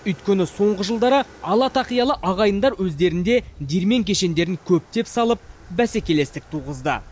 өйткені соңғы жылдары ала тақиялы ағайындар өздерінде диірмен кешендерін көптеп салып бәсекелестік туғызды